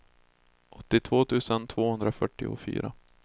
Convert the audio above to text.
åttiotvå tusen tvåhundrafyrtiofyra